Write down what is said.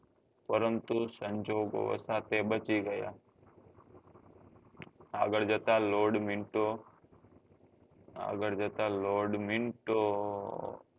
પરંતુ સંજોગ વષો તે બચી ગયા આગળ જતા lord minto આગળ જતા lord minto